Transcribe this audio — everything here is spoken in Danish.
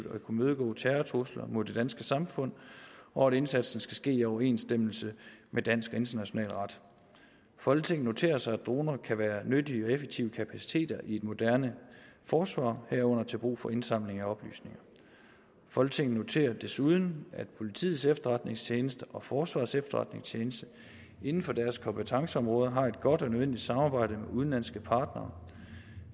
at kunne imødegå terrortrusler mod det danske samfund og at indsatsen skal ske i overensstemmelse med dansk og international ret folketinget noterer sig at droner kan være nyttige og effektive kapaciteter i et moderne forsvar herunder til brug for indsamling af oplysninger folketinget noterer sig desuden at politiets efterretningstjeneste og forsvarets efterretningstjeneste inden for deres kompetenceområder har et godt og nødvendigt samarbejde med udenlandske partnere